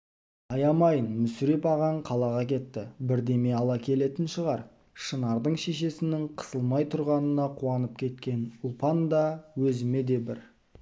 аямайын мүсіреп ағаң қалаға кетті бірдеме ала келетін шығар шынардың шешесінің қысылмай тұрғанына қуанып кеткен ұлпанда өзіме де бір